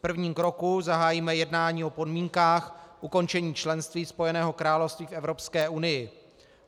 V prvním kroku zahájíme jednání o podmínkách ukončení členství Spojeného království v Evropské unii.